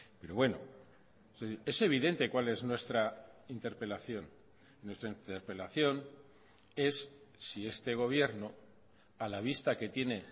pero bueno es evidente cuál es nuestra interpelación nuestra interpelación es si este gobierno a la vista que tiene